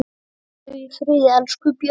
Hvíldu í friði, elsku Bjössi.